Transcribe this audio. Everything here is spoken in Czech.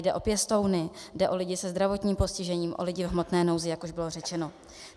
Jde o pěstouny, jde o lidi se zdravotním postižením, o lidi v hmotné nouzi, jak už bylo řečeno.